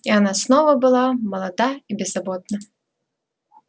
и она снова была молода и беззаботна